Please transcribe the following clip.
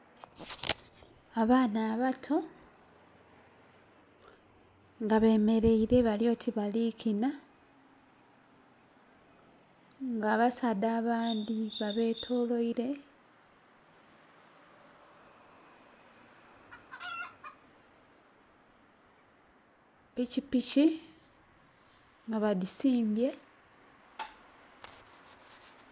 Abaana abato nga beemereire balyoti bali kina nga abasaadha abandhi babetolwaire pikipiki nga badisimbye.